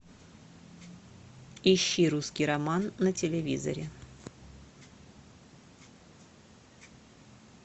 ищи русский роман на телевизоре